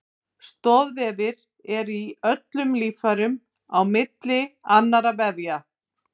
Stoðvefir eru í öllum líffærum á milli annarra vefja.